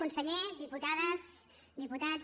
conseller diputades diputats